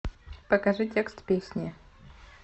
покажи текст песни